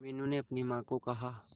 मीनू ने अपनी मां को कहा